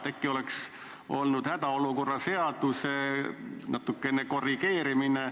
Äkki oleks aidanud hädaolukorra seaduse natukesest korrigeerimisest.